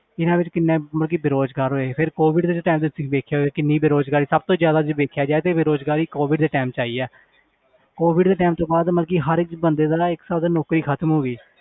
ਇਹਨਾਂ ਵਿੱਚ ਕਿੰਨੇ ਮਤਲਬ ਕਿ ਬੇਰੁਜ਼ਗਾਰ ਹੋਏ ਫਿਰ ਕੋਵਿਡ ਦੇ ਟਾਇਮ ਵਿੱਚ ਤੁਸੀਂ ਦੇਖਿਆ ਹੋਏ ਕਿੰਨੀ ਬੇਰੁਜ਼ਗਾਰੀ ਸਭ ਤੋਂ ਜ਼ਿਆਦਾ ਜੇ ਵੇਖਿਆ ਜਾਏ ਤੇ ਬੇਰੁਜ਼ਗਾਰੀ COVID ਦੇ time 'ਚ ਆਈ ਹੈ COVID ਦੇ time ਤੋਂ ਬਾਅਦ ਮਤਲਬ ਕਿ ਹਰ ਇੱਕ ਬੰਦੇ ਦਾ ਇੱਕ ਤਾਂ ਉਦੋਂ ਨੌਕਰੀ ਖ਼ਤਮ ਹੋ ਗਈ